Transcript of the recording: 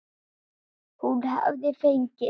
Hún hafði fengið